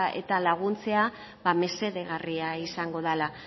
eta laguntzea mesedegarria izango dala